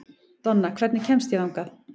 Donna, hvernig kemst ég þangað?